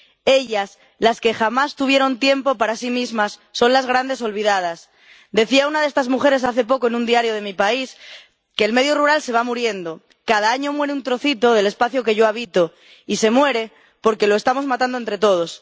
Ellas, las que jamás tuvieron tiempo para sí mismas, son las grandes olvidadas. Decía una de estas mujeres hace poco en un diario de mi país que el medio rural se va muriendo, cada año muere un trocito del espacio que yo habito y se muere porque lo estamos matando entre todos.